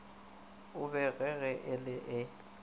e bogege e le e